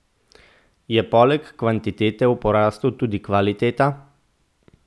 Je poleg kvantitete v porastu tudi kvaliteta?